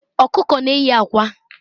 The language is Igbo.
Ọkụkọ na-eyi akwa.